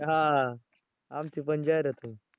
हां हां आमची पण जाहिरात होईल.